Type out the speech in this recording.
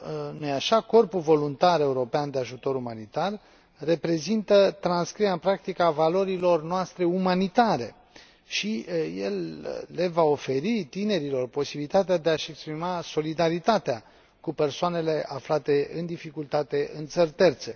nu i așa, Corpul voluntar european de ajutor umanitar reprezintă transcrierea în practică a valorilor noastre umanitare și el le va oferi tinerilor posibilitatea de a și exprima solidaritatea cu persoanele aflate în dificultate în țări terțe.